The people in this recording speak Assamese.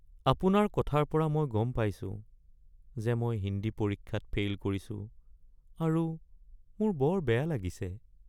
আপোনাৰ কথাৰ পৰা মই গম পাইছো যে মই হিন্দী পৰীক্ষাত ফেইল কৰিছো আৰু মোৰ বৰ বেয়া লাগিছে। (ছাত্ৰ)